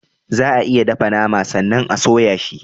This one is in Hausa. Za a iya dafa nama sannan a soya shi.